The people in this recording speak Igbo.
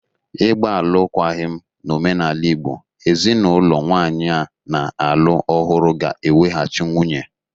Ịgba alụkwaghịm n'omenala Igbo, ezinaụlọ nwanyị a na-alụ ọhụrụ ga-eweghachi nwunye